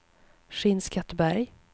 Skinnskatteberg